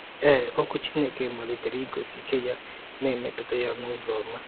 Ee, Okwu Chineke malitere igosi ike ya, na-emetụta ya n’ụzọ ọma